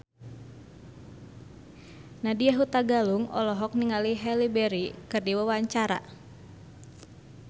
Nadya Hutagalung olohok ningali Halle Berry keur diwawancara